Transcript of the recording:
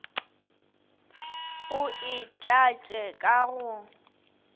o e tlatše ka go